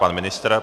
Pan ministr.